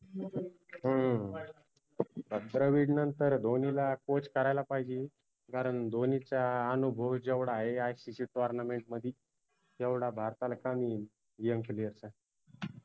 हम्म द्रविड नंतर धोनीला Coache करायला पाहिजे कारन धोनीच्या आनुभव जेवढा आहे ICCtournament मदि तेवढा भारताला कमी येईन